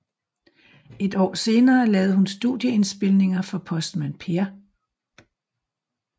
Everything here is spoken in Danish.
Et år senere lavede hun studieindspilninger for Postmand Per